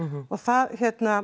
og það hérna